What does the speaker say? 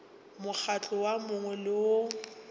mokgatlo wo mongwe le wo